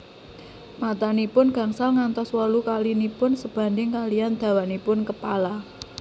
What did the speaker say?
Matanipun gangsal ngantos wolu kalinipun sebanding kaliyan dawanipun kepala